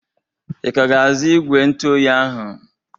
I ka ga-azu igwe ntụoyi ahụ?